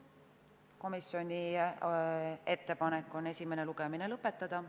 Komisjoni ettepanek on esimene lugemine lõpetada.